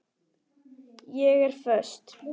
Ég er föst.